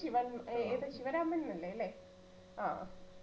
ശിവൻ ഏർ ത് ശിവരാമൻ ന്നു അല്ലെ ല്ലേ ആഹ്